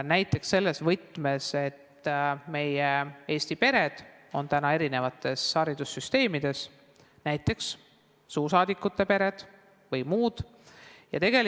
Näiteks selles võtmes, et eesti perede lapsed õpivad eri haridussüsteemides, näiteks suursaadikute pered või muud pered.